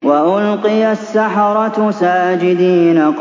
وَأُلْقِيَ السَّحَرَةُ سَاجِدِينَ